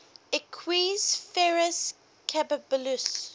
equus ferus caballus